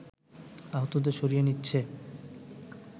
আহতদের সরিয়ে নিচ্ছে